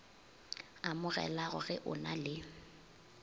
amogelago ge o na le